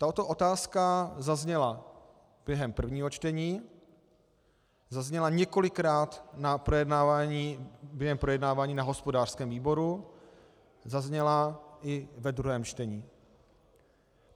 Tato otázka zazněla během prvního čtení, zazněla několikrát během projednávání na hospodářském výboru, zazněla i ve druhém čtení.